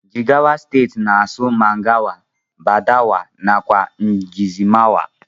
Jigawa stetii n asụ mangawa, badawa nakwa ngizomawa.